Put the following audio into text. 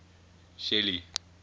shelly